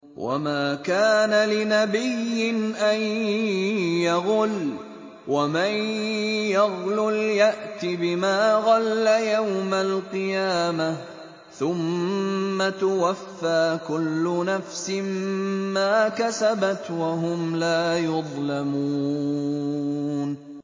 وَمَا كَانَ لِنَبِيٍّ أَن يَغُلَّ ۚ وَمَن يَغْلُلْ يَأْتِ بِمَا غَلَّ يَوْمَ الْقِيَامَةِ ۚ ثُمَّ تُوَفَّىٰ كُلُّ نَفْسٍ مَّا كَسَبَتْ وَهُمْ لَا يُظْلَمُونَ